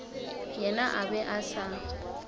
yena a be a sa